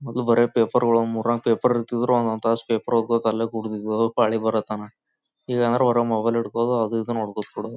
ಮುದು ಬರೇ ಪೇಪರ್ ಗಳು ಮೂರ್ನಾಲ್ಕು ಪೇಪರ್ ಇರ್ತಿದ್ರು ಒಂದೊಂದ್ ತಾಸು ಪೇಪರ್ ಓದ್ಕೋತಾ ಅಲ್ಲೇ ಕುರ್ತಿದ್ರು ಪಾಳಿ ಬಾರೋ ತಾನ ಈಗ ಆದ್ರೆ ಮೊಬೈಲ್ ಹಿಡ್ಕೊಂಡ್ ಅದು ಇದು ನೋಡ್ಕೊತ ಕುರೋದ್--